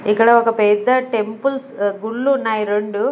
ఇక్కడ ఒక పెద్ద టెంపుల్స్ గుళ్లు ఉన్నాయి రెండు.